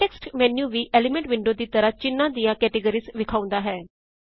context menu ਵੀ element window ਦੀ ਤਰਾਂ ਚਿੰਨਾਂ ਦੀਆਂ ਕੈਟੇਗਰੀਆਂ ਵਿਖਾਉਂਦਾ ਹੈ